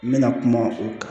N bɛna kuma o kan